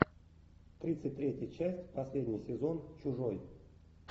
тридцать третья часть последний сезон чужой